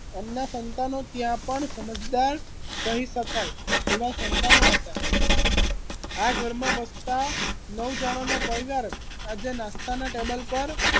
એમના સંતાનો ત્યા પણ સમજદાર કહી શકાય એવા સંતાનો હતા આ ઘરમા વસતા નવ જણાનો પરિવાર આજે નાસ્તાના ટેબલ પર